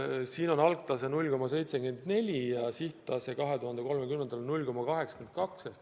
Siin on algtase 0,74 ja sihttase 2030. aastal 0,82.